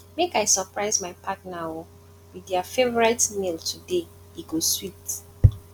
make i surprise my partner um with dia favorite meal today e go sweet